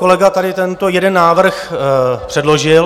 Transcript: Kolega tady tento jeden návrh předložil.